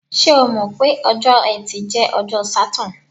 Ṣé o mọ̀ pé ọjọ́ Ẹtì jẹ́ ọjọ́ Saturn?